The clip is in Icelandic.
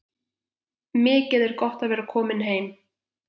Mikið er gott að vera komin heim!